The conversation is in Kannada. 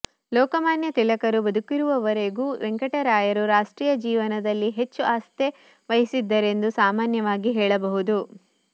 ಲೋಕಮಾನ್ಯ ತಿಲಕರು ಬದುಕಿರುವವರೆಗೂ ವೆಂಕಟರಾಯರು ರಾಷ್ಟ್ರೀಯ ಜೀವನದಲ್ಲಿ ಹೆಚ್ಚು ಆಸ್ಥೆ ವಹಿಸಿದ್ದರೆಂದು ಸಾಮಾನ್ಯವಾಗಿ ಹೇಳಬಹುದು